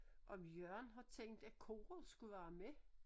Om Jørgen har tænkt at koret skulle være med